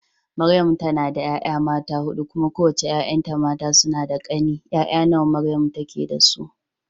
Maryamu tana da 'ya'ya mata huɗu, kuma kowace 'ya'yanta mata suna da ƙane. 'Ya'ya nawa Maryamu take da su?